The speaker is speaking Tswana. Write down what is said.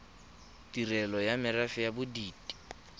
ditirelo tsa merafe ya bodit